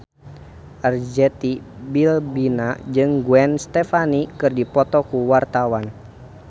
Arzetti Bilbina jeung Gwen Stefani keur dipoto ku wartawan